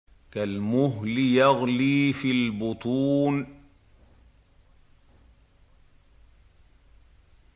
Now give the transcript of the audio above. كَالْمُهْلِ يَغْلِي فِي الْبُطُونِ